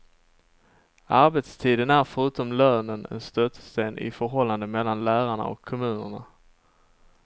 Arbetstiden är förutom lönen en stötesten i förhållandet mellan lärarna och kommunerna.